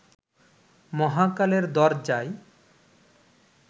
মহাকালের দরজায়